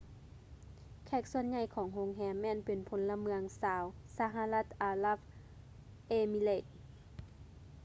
ແຂກສ່ວນໃຫຍ່ຂອງໂຮງແຮມແມ່ນເປັນພົນລະເມືອງຊາວ ສະຫະລັດ ອາຣັບ ເອມິເຣດ united arab emirates